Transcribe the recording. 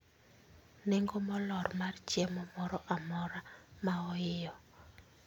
Nengo molor mar chiemo moro amora maoiyo